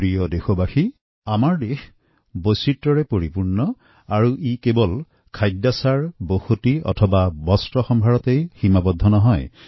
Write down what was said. মোৰ প্ৰিয় দেশবাসী আমাৰ দেশ বৈচিত্ৰপূৰ্ণ আৰু এই বৈচিত্ৰ্য কেৱল খোৱাবোৱা সাজসজ্জা আচাৰব্যৱহাৰতে সীমাৱদ্ধ নহয়